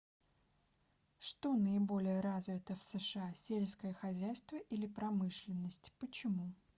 что наиболее развито в сша сельское хозяйство или промышленность почему